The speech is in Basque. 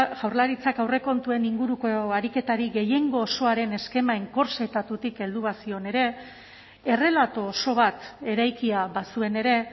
jaurlaritzak aurrekontuen inguruko ariketari gehiengo osoaren eskema enkorsetatutik heldu bazion ere errelato oso bat eraikia bazuen ere